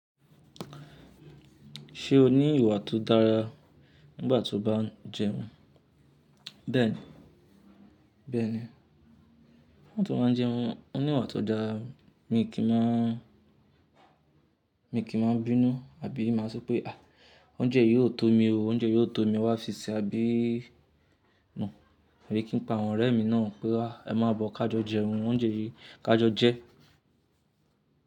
Ṣé o ní ìwà tó dára nígbàtí o bá n jẹun? Bẹ́ẹ̀ni, bẹ́ẹ̀ni, nígbàtí mo bá n jẹun, mo ní ìwà tó dára. Èmi kì í máa, èmi kì í máa bínú àbí máa sọ pé, àh, oúnjẹ yìí yóò tó mi ó, oúnjẹ yìí yóò tó mi, e wá fi ṣe, àbí no. Abi kì n pe àwọn ọ̀rẹ́ mi náà pé wa, ẹ má bọ̀ ká jọ jẹun, oúnjẹ yìí ká jọ jẹ.